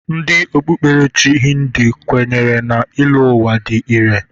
Ndị okpukperechi Hindu kwenyere na ịlọ ụwa dị irè.